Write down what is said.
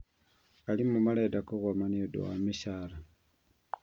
Arimũ marenda kũgoma niũndũ ya mĩcaara